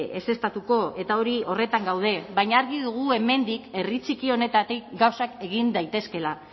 ezeztatuko eta hori horretan gaude baina argi dugu hemendik herri txiki honetatik gauzak egin daitezkeela